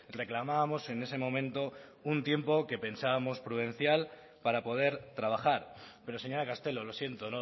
reclamábamos en ese momento un tiempo que pensábamos prudencial para poder trabajar pero señora castelo lo siento